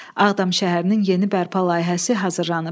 Ağdam şəhərinin yeni bərpa layihəsi hazırlanıb.